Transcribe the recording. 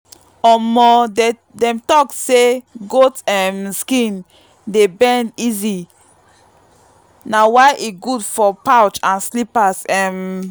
omo dem talk say goat um skin dey bend easy na why e good for pouch and slippers. um